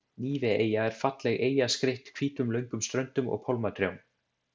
Níveeyja er falleg eyja skreytt hvítum löngum ströndum og pálmatrjám.